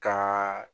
Ka